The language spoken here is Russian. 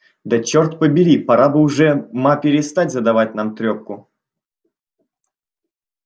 да черт побери пора бы уж ма перестать задавать нам трёпку